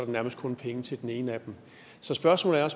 nærmest kun penge til den ene af dem så spørgsmålet er